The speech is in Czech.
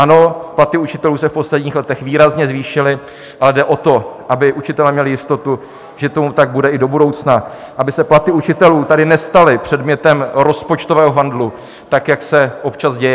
Ano, platy učitelů se v posledních letech výrazně zvýšily, ale jde o to, aby učitelé měli jistotu, že tomu tak bude i do budoucna, aby se platy učitelů tady nestaly předmětem rozpočtového handlu, tak jak se občas děje.